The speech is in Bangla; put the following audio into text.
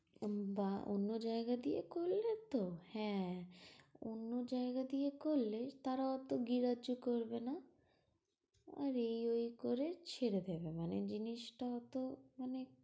উম বা অন্য জায়গা দিয়ে করলে তো, হ্যাঁ অন্য জায়গা দিয়ে করলে তারা অত গ্রাহ্য করবে না আর এই ঐ করে সেরে ফেলবে। মানে জিনিসটা হত মানে